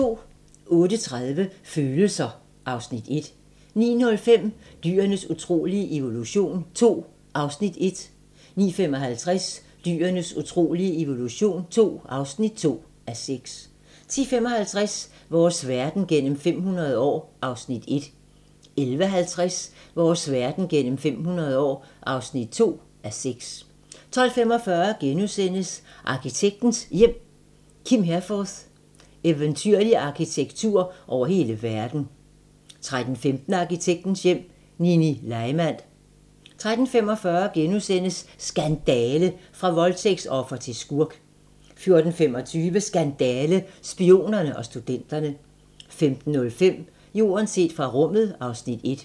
08:30: Følelser: (Afs. 1) 09:05: Dyrenes utrolige evolution II (1:6) 09:55: Dyrenes utrolige evolution II (2:6) 10:55: Vores verden gennem 500 år (1:6) 11:50: Vores verden gennem 500 år (2:6) 12:45: Arkitektens Hjem: Kim Herforth - "Eventyrlig arkitektur over hele verden". * 13:15: Arkitektens Hjem: Nini Leimand 13:45: Skandale! - fra voldtægtsoffer til skurk * 14:25: Skandale - Spionerne og studenterne 15:05: Jorden set fra rummet (Afs. 1)